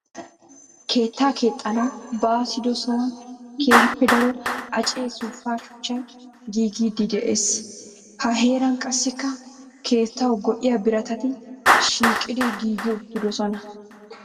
Keetta keexxanwu baassiddo sohuwan keehippe daro acce suufa shuchchay giiggidde de'ees. Ha heeran qassikka keettawu go'iya biratatti shiiqiddi giiggi uttidosonna.